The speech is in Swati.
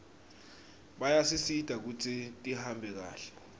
bayasisita kutsi tihambe kahle